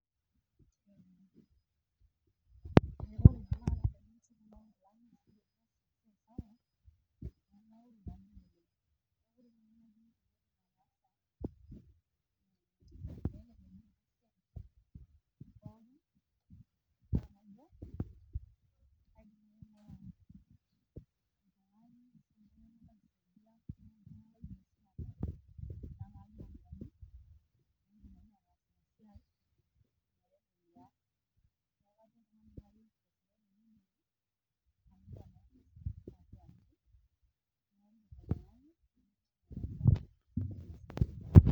poor sound quality barely heard